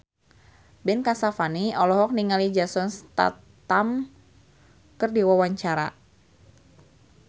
Ben Kasyafani olohok ningali Jason Statham keur diwawancara